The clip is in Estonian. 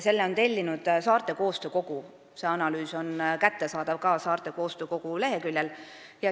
Selle on tellinud Saarte Koostöökogu ja see analüüs on kättesaadav ka nende leheküljel.